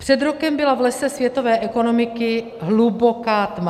Před rokem byla v lese světové ekonomiky hluboká tma.